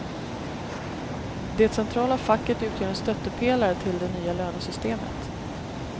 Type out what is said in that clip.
Det centrala facket utgör en stöttepelare till det nya lönesystemet.